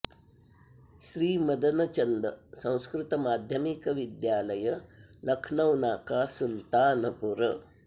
श्री मदन चन्द संस्कृत माध्यमिक विद्यालय लखनऊ नाका सुलतानपुर